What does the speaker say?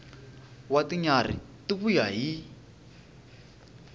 wa tinyarhi ti vuya hi